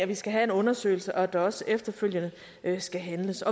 vi skal have en undersøgelse og at der også efterfølgende skal handles